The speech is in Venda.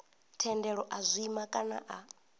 thendelo a zwima kana a